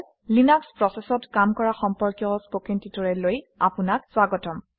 Linux প্ৰচেচত কাম কৰা সম্পৰ্কীয় কথন প্ৰশিক্ষণলৈ আপোনাক স্বাগতম